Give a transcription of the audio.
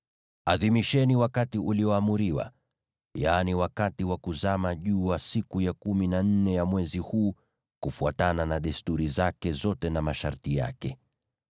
Adhimisheni wakati ulioamriwa, yaani wakati wa kuzama jua siku ya kumi na nne ya mwezi huu, kufuatana na desturi zake zote na masharti yake.”